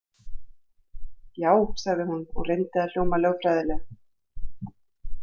Já, sagði hún og reyndi að hljóma lögfræðilega.